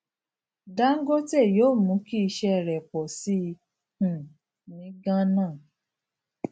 dangote yóò mú kí iṣẹ rẹ pọ sí i um ní gánà